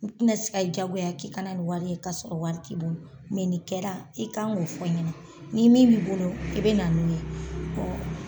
N te na se ka i jagoya k'i ka na ni wari ka sɔrɔ wari t'i bolo nin kɛra i kan k'o fɔ n ɲɛna ni min b'i bolo i be na n'o ye.